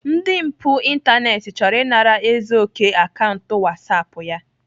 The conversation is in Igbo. Ndị mpụ ịntanetị chọrọ ịnara Ezeoke akaụntụ whatsapp ya